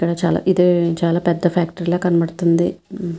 ఇక్కడ ఇదే చాలా పెద్ధ ఫ్యాక్టరీ లాగా కనపడతుంది.